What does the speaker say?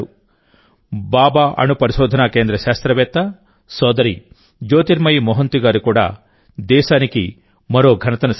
భాభా అణు పరిశోధనాకేంద్ర శాస్త్రవేత్త సోదరి జ్యోతిర్మయి మొహంతి గారు కూడా దేశానికి మరో ఘనతను సాధించారు